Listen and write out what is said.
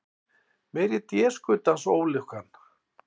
Meiri déskotans ólukkan.